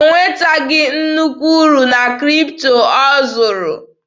O nwetaghị nnukwu uru na Kripto ọ zụrụ.